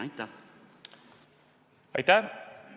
Aitäh!